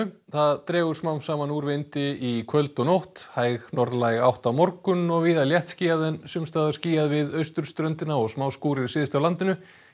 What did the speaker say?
það dregur smám saman úr vindi í kvöld og nótt hæg norðlæg átt á morgun og víða léttskýjað en sums staðar skýjað við austurströndina og syðst á landinu